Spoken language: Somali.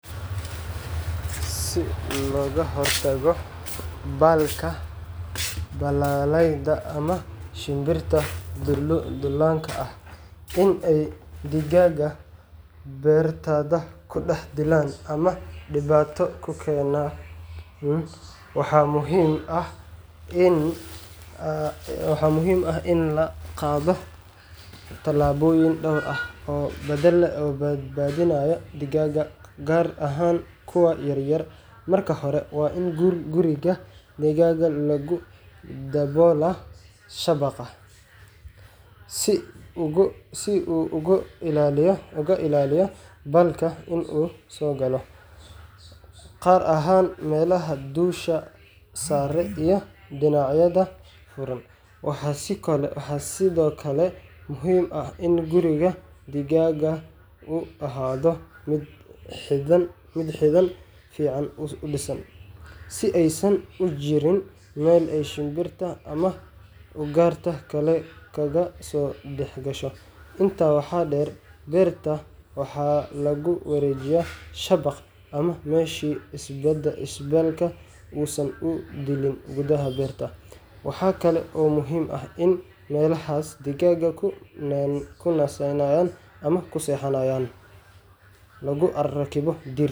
Si looga hortago baalka (baalalleyda ama shimbiraha duullaanka ah) in ay digaagga beertaada ku dhex dilaan ama dhibaato ku keenaan, waxaa muhiim ah in la qaado tallaabooyin dhowr ah oo badbaadinaya digaagga, gaar ahaan kuwa yar yar. Marka hore, waa in guriga digaagga lagu daboolaa shabaq si uu uga ilaaliyo baalka in uu soo galo, gaar ahaan meelaha dusha sare iyo dhinacyada furan. Waxaa sidoo kale muhiim ah in guriga digaagga uu ahaado mid xidhan fiicanna u dhisan, si aysan u jirin meel ay shimbiraha ama ugaarta kale kaga soo dhex gasho. Intaa waxaa dheer, beerta waxaa lagu wareejiyaa shabaq ama mesh si baalka uusan u duulin gudaha beerta. Waxaa kale oo muhiim ah in meelaha digaagga ku nasanayaan ama ku seexanayaan lagu rakibo dhirt.